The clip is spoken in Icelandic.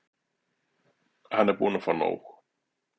Hann er búinn að fá nóg.